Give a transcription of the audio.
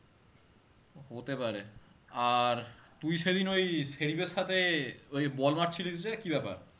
হতে পারে আর তুই সেদিন ওই সাইফ এর সাথে ওই বল মারছিলিস যে, কি ব্যাপার?